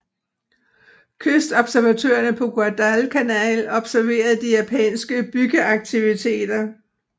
Kystobservatørerne på Guadalcanal observerede de japanske byggeaktiviteter